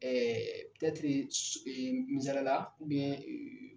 Ɛɛ misaliya la ee